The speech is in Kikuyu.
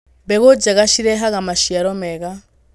Mbegũ njega cirehaga maciaro mega.